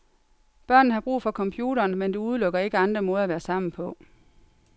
Børnene har brug for computeren, men det udelukker ikke andre måder at være sammen på.